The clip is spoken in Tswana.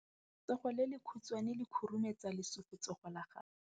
Letsogo le lekhutshwane le khurumetsa lesufutsogo la gago.